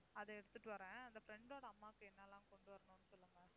அதை எடுத்துட்டு வர்றேன். அந்த friend ஓட அம்மாக்கு என்னெல்லாம் கொண்டு வரணும்னு சொல்லுங்க.